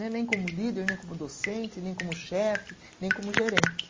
Né, nem como líder, nem como docente, nem como chefe, nem como gerente.